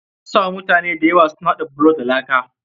Mun samu mutane da yawa su na haɗa bulo da laa.